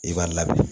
I b'a labɛn